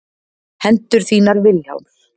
Hendur þínar Vilhjálms.